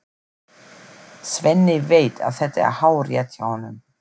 Svenni veit að þetta er hárrétt hjá honum.